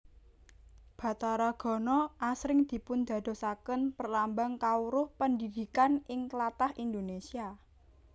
Bathara Gana asring dipundadosaken perlambang kawruh pendhidhikan ing tlatah Indonésia